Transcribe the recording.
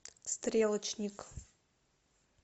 стрелочник